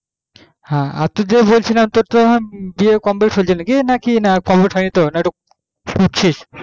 হ্যাঁ তোকে কি বলছিলাম তোর তো আবার B. A complete হয়েছে না কি complete হয় নি তোর না মানে ওটা খুজছিস